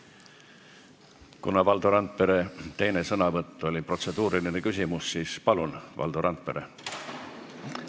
Kuna Valdo Randpere teine sõnavõtt oli protseduuriline küsimus, siis palun, Valdo Randpere!